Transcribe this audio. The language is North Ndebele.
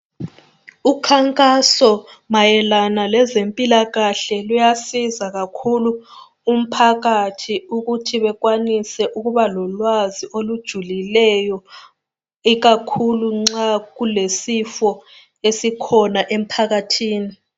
Ukhankaso mayelana lezempilakahle luyasiza kakhulu umphakathi ukuthi bekwanise ukubalolwazi olujulileyo ikakhulu nxa kulesifo esikhona emphakathini